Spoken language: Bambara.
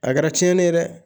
A kɛra tiɲɛni ye dɛ